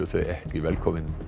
þau ekki velkomin